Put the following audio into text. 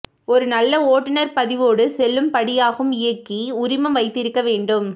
ஒரு நல்ல ஓட்டுநர் பதிவோடு செல்லுபடியாகும் இயக்கி உரிமம் வைத்திருக்க வேண்டும்